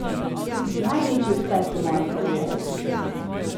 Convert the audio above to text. Največji uspeh v moji karieri!